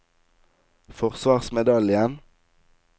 forsvarsmedaljen